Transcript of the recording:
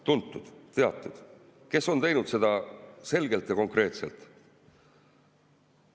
Tuntud-teatud, kes on teinud seda selgelt ja konkreetselt.